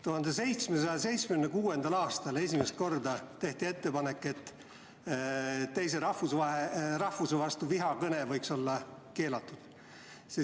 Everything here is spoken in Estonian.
1776. aastal tehti esimest korda ettepanek, et teise rahvuse vastu suunatud vihakõne võiks olla keelatud.